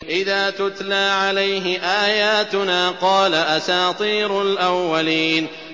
إِذَا تُتْلَىٰ عَلَيْهِ آيَاتُنَا قَالَ أَسَاطِيرُ الْأَوَّلِينَ